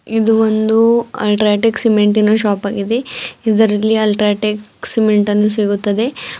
ಇದು ಒಂದು ಅಲ್ಟ್ರಾಟೆಕ್ ಸಿಮೆಂಟಿನ ಶಾಪಗಿದೆ ಇದರಲ್ಲಿ ಅಲ್ಟ್ರಾಟೆಕ್ ಸಿಮೆಂಟನ್ನು ಸಿಗುತ್ತದೆ.